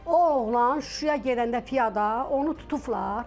O oğlan Şuşaya gedəndə piyada, onu tutublar.